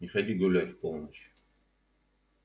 не ходи гулять в полночь